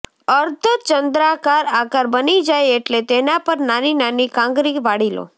અર્ધચંદ્રાકાર આકાર બની જાય એટલે તેના પર નાની નાની કાંગરી વાળી લો